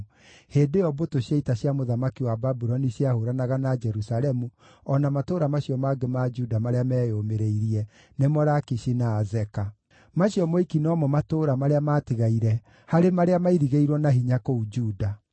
hĩndĩ ĩyo mbũtũ cia ita cia mũthamaki wa Babuloni ciahũũranaga na Jerusalemu o na matũũra macio mangĩ ma Juda marĩa meyũmĩrĩirie, nĩmo Lakishi na Azeka. Macio moiki no mo matũũra marĩa matigaire harĩ marĩa mairigĩirwo na hinya kũu Juda.